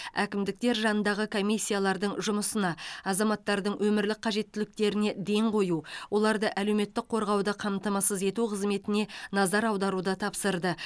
әкімдіктер жанындағы комиссиялардың жұмысына азаматтардың өмірлік қажеттіліктеріне ден қою оларды әлеуметтік қорғауды қамтамасыз ету қызметіне назар аударуды тапсырды